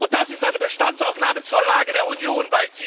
Und das ist eine Bestandsaufnahme zur Lage der Union!